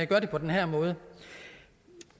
gør det på den her måde